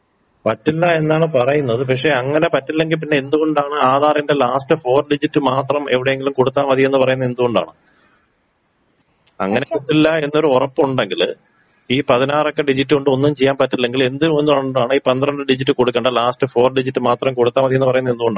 പറ്റില്ല എന്നാണ് പറയുന്നത് പക്ഷെ അങ്ങനെ പറ്റില്ലെങ്കി പിന്നെ എന്തുകൊണ്ടാണ് ആധാറിന്റെ ലാസ്റ്റ് ഫോർ ഡിജിറ്റ് മാത്രം എവടെയെങ്കിലും കൊടുത്താ മതിന്ന് പറയുന്നതെന്തുകൊണ്ടാണ്. അങ്ങനെ പറ്റത്തില്ല എന്നൊരൊറപ്പുണ്ടെങ്കില് ഈ പതിനാറക്ക ഡിജിറ്റ് കൊണ്ടൊന്നും ചെയ്യാൻപറ്റില്ലെങ്കില് എന്ത് കൊണ്ടാണ് ഈ പന്ത്രണ്ട് ഡിജിറ്റ് കൊടുക്കണ്ട ലാസ്റ്റ് ഫോർ ഡിജിറ്റ് മാത്രം കൊടുത്താ മതീന്ന് പറയുന്നതെന്തുകൊണ്ടാണ്.